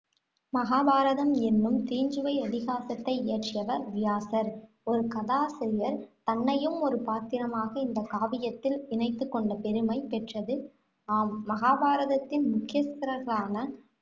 மகாபாரதம் என்னும் தீஞ்சுவை இதிகாசத்தை இயற்றியவர் வியாசர். ஒரு கதாசிரியர், தன்னையும் ஒரு பாத்திரமாக இந்த காவியத்தில் இணைத்துக் கொண்ட பெருமை பெற்றது. ஆம் மகாபாரதத்தின் முக்கியஸ்தர்களான